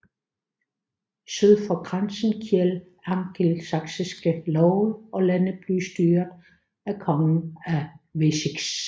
Syd for grænsen gjaldt angelsaksiske love og landet blev styret af kongen af Wessex